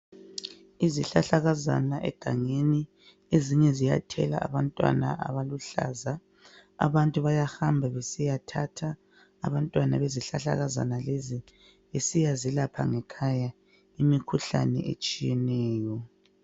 Izihlahlakazana egangeni ezinye ziyathela abantwana abaluhlaza, abantu bayahamba besiyathatha abantwana bezihlahlakazana lezi besiya zelapha ngekhaya imikhuhlane etshiyeneyo.